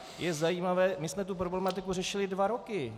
My jsme tu problematiku řešili dva roky.